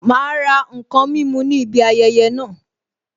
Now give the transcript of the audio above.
Ma ra n kan mímu ní ibi ayẹyẹ naa